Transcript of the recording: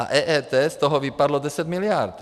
A EET - z toho vypadlo 10 miliard.